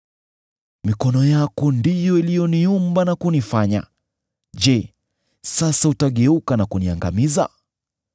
“Mikono yako ndiyo iliyoniumba na kunifanya. Je, sasa utageuka na kuniangamiza?